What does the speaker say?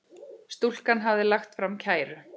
Stúlkan hafði lagt fram kæru.